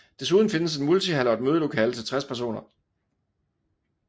Desuden findes en multihal og et mødelokale til 60 personer